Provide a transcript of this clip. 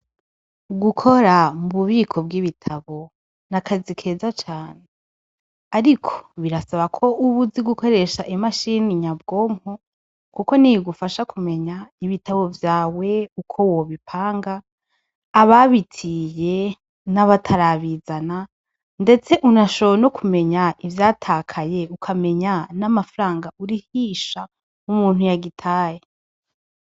Gukora mububiko bw'ibitabo nakazi keza cane .Ariko birasaba KO uba Uzi gukoresha imashine nyabwonko Kuko niyo igufasha kumenya ibitabo vyawe Uko wobipanga ababitiye nabatarabizana ndetse unashoboye nukumenya ivyatakaye utamenya samafaranga urihisha umuntu yagitaye.